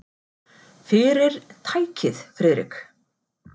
Fyrir- tækið, Friðrik.